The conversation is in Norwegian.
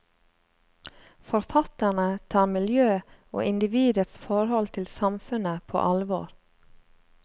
Forfatterne tar miljø og individets forhold til samfunnet på alvor.